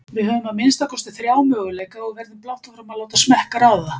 Við höfum að minnsta kosti þrjá möguleika og verðum blátt áfram að láta smekk ráða.